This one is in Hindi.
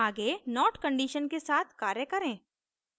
आगे not condition के साथ कार्य करें